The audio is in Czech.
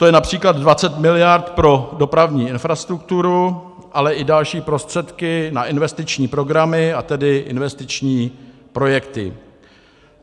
To je například 20 miliard pro dopravní infrastrukturu, ale i další prostředky na investiční programy, a tedy investiční projekty.